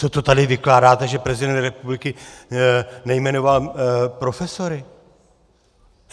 Co to tady vykládáte, že prezident republiky nejmenoval profesory?